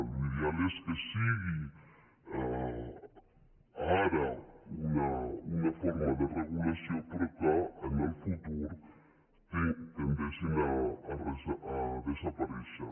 l’ideal és que sigui ara una forma de regulació però que en el futur tendeixin a desaparèixer